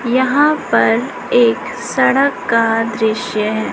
यहां पर एक सड़क का दृश्य है।